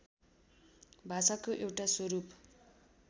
भाषाको एउटा स्वरूप